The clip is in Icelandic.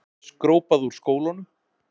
Skrópað úr skólanum.